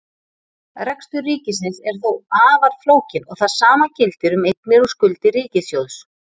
Rekstur ríkisins er þó afar flókinn og það sama gildir um eignir og skuldir ríkissjóðs.